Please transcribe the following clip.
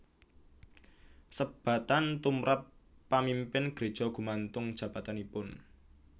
Sebatan tumrap pamimpin greja gumantung jabatanipun